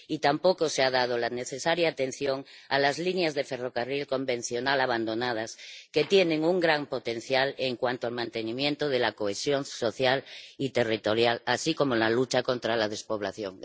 Y tampoco se ha prestado la necesaria atención a las líneas de ferrocarril convencional abandonadas, que tienen un gran potencial en cuanto al mantenimiento de la cohesión social y territorial, así como en la lucha contra la despoblación.